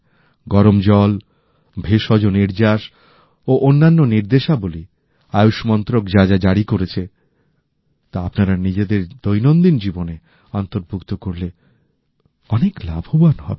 গরম জলভেষজ নির্যাস ও অন্যান্য নির্দেশাবলী আয়ুষ মন্ত্রক যা যা জারি করেছে তা আপনারা নিজেদের দৈনন্দিন জীবনে অন্তর্ভুক্ত করলে অনেক লাভবান হবেন